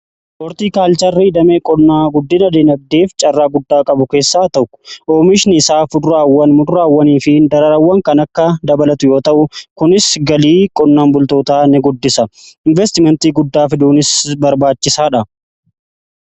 hoortii kaalcharri damee qonnaa guddina dinagdeef caarraa guddaa qabu keessaa isa tokko yoo ta'u oomishni isaa kuduraawwan muduraawwanii fi daraarawwan kan dabalatu yoo ta'u kunis galii qonnaan bultootaa ni guddisa. inveestimentii guddaa fiduufis barbaachisaadha.